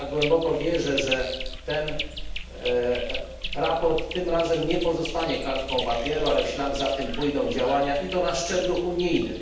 Głęboko wierzę, że to sprawozdanie tym razem nie pozostanie kartką papieru, ale w ślad za nim pójdą działania, i to na szczeblu unijnym.